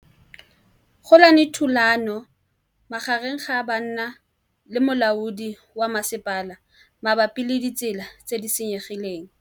Go na le thulanô magareng ga banna le molaodi wa masepala mabapi le ditsela tse di senyegileng.